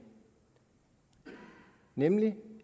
nævne dem